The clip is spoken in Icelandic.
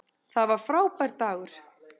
Það var frábær dagur.